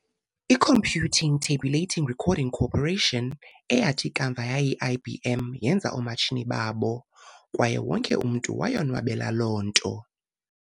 I-Computing Tabulating Recording Corporation, eyathi kamva yayi-IBM, yenza ii-matshini zakhe, kwaye wonke umntu wayonwabela loo nto.